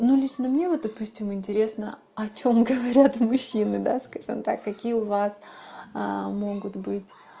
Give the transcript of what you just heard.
ну лично мне вот допустим интересно о чем говорят мужчины даст он так какие у вас могут быть